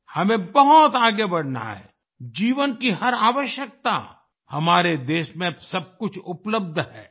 हमें बहुत आगे बढना है जीवन की हर आवश्यकता हमारे देश में अब सब कुछ उपलब्ध है